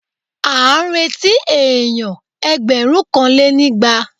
À ń retí èèyàn ẹgbẹ̀rúnkanlénígba